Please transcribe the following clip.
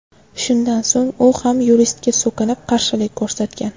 Shundan so‘ng u ham yuristga so‘kinib, qarshilik ko‘rsatgan.